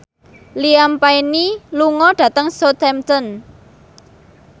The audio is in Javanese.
Liam Payne lunga dhateng Southampton